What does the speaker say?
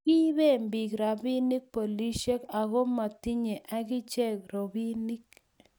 kiiben biik robinik polisiek, aku amu matinyei akichek robinik